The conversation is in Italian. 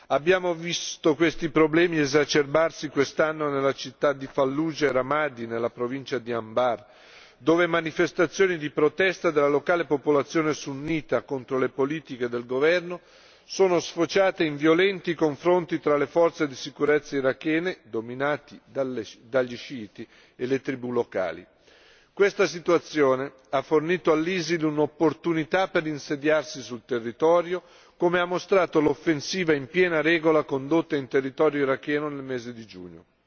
Abbiamo visto questi problemi esacerbarsi quest'anno nelle città di Fallujah e Ramadi, nella provincia di Anbar, dove manifestazioni di protesta della locale popolazione sunnita contro le politiche del governo sono sfociate in violenti confronti fra le forze di sicurezza irachene, dominate dagli sciiti, e le tribù locali. Questa situazione ha fornito all'ISIL un'opportunità per insediarsi sul territorio, come ha mostrato l'offensiva in piena regola condotta in territorio iracheno nel mese di giugno.